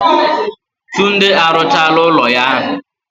Tunde arụchaala ụlọ ya ahu.